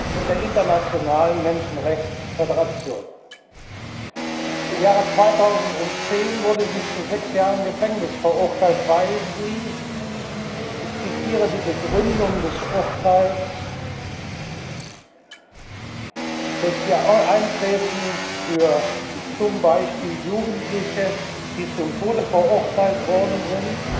und der Internationalen Menschenrechtsföderation. Im Jahre 2010 wurde sie zu sechs Jahren Gefängnis verurteilt für ich zitiere die Begründung des Urteils ihr Eintreten für zum Beispiel Jugendliche, die zum Tode verurteilt worden sind.